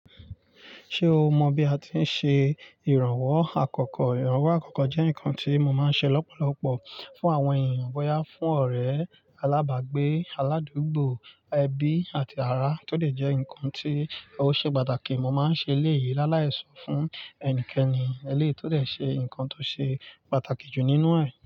Ṣé o mọ bí a ti ń ṣe ìrànwọ́ àkọ́kọ́? Ìrànwọ́ àkọ́kọ́ jẹ́ nǹkan tí mo máa ń ṣe lọ́pọ̀lọpọ̀ fún àwọn èèyàn, bóyá fún ọ̀rẹ́ alábàágbé, aládùúgbò, ẹbí àti ará tó dẹ̀ jẹ́ nǹkan tí ó ṣe pàtàkì. Mo máa ń ṣe eleyìí lálàí so fún ẹni kenikeni eléyìí tó dẹ̀ ṣe nǹkan tó ṣe pàtàkì jù nínú ẹ̀.